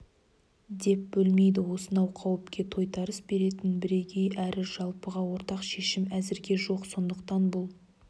деп бөлмейді осынау қауіпке тойтарыс беретін бірегей әрі жалпыға ортақ шешім әзірге жоқ сондықтан бұл